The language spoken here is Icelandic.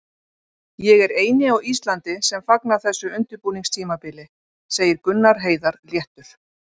Ég er eini á Íslandi sem fagna þessu undirbúningstímabili, segir Gunnar Heiðar léttur.